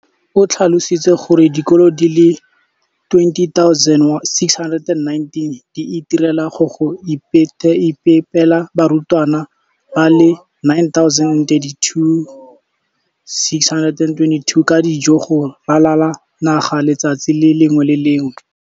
O tlhalositse gore dikolo di le 20 619 di itirela le go iphepela barutwana ba le 9 032 622 ka dijo go ralala naga letsatsi le lengwe le le lengwe.